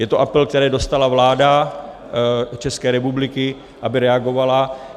Je to apel, který dostala vláda České republiky, aby reagovala.